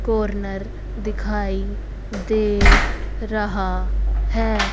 Corner दिखाई दे रहा है।